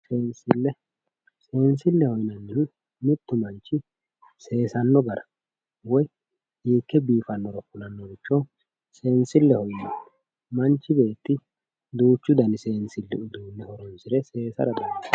Seensille, seensilleho yinannihu mittu manchi seesanno gara woyi hiikke biifannoro kulannoha seensilleho yinanni. Manchi beetti duuchu dani seensilli uduunne horonsire seesara dandaanno.